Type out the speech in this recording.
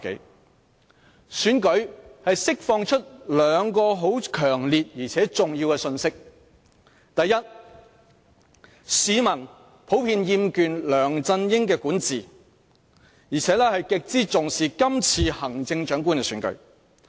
是次選舉釋放出兩個很強烈而重要的信息：第一，市民普遍厭倦梁振英的管治，而且極之重視今次行政長官的選舉。